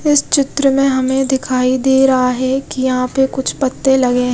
इस चित्र में हमे दिखाई दे रहा है की यहाँ पे कुछ पत्ते लगे--